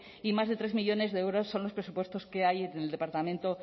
y más de tres millónes de euros son los presupuestos que hay en el departamento